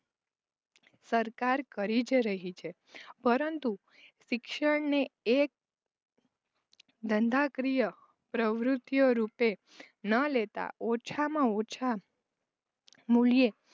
સરકાર કરી જ રહી છે. પરંતુ શિક્ષણને એક ધંધાકીય પ્રવૃતિઓ રૂપે ન લેતા ઓછામાં ઓછા મુલ્યે